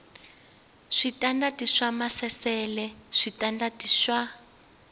switandati swa maasesele switandati swa